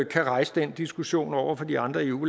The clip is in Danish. kan rejse den diskussion over for de andre eu